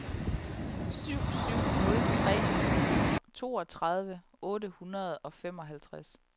syv syv nul tre toogtredive otte hundrede og femoghalvtreds